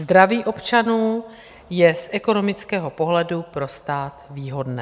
Zdraví občanů je z ekonomického pohledu pro stát výhodné.